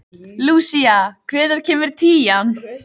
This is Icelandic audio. Lúsía, hvenær kemur tían?